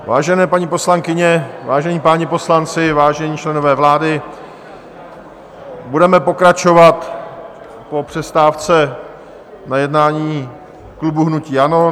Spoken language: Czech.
Vážené paní poslankyně, vážení páni poslanci, vážení členové vlády, budeme pokračovat po přestávce na jednání klubu hnutí ANO.